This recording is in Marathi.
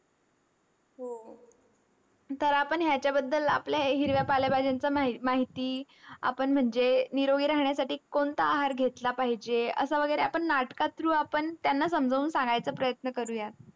तर आपण ह्याच्याबद्दल आपल्या हिरव्या पालेभाज्यांचं मा माहिती, आपण म्हणजे निरोगी राहण्यासाठी कोणता आहार घेतला पाहिजे असं वगैरे आपण नाटका through आपण त्यांना समजावून सांगायचा प्रयत्न करूया.